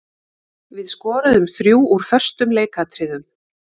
Við skoruðum þrjú úr föstum leikatriðum.